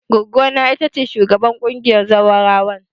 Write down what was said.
Goggona ita ce shugabar ƙungiyar zawarawan.